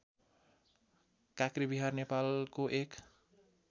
काँक्रेविहार नेपालको एक